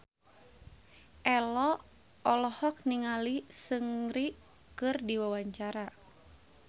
Ello olohok ningali Seungri keur diwawancara